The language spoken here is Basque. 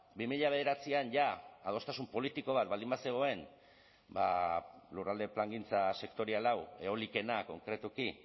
bi mila bederatzian jada adostasun politiko bat baldin bazegoen ba lurralde plangintza sektorial hau eolikoenak konkretuki